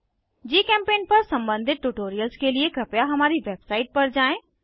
जीचेम्पेंट पर सम्बंधित ट्यूटोरियल्स के लिए कृपया हमारी वेबसाइट पर जाएँ